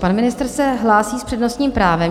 Pan ministr se hlásí s přednostním právem.